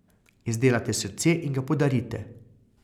Izdelate srce in ga podarite.